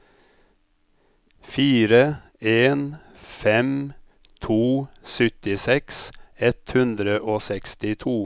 fire en fem to syttiseks ett hundre og sekstito